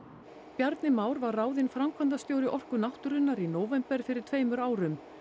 Bjarni Már var ráðinn framkvæmdastjóri Orku náttúrunnar í nóvember fyrir tveimur árum